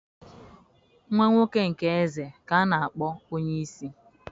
nwa-nwoke nke eze ka anākpọ onye-isi.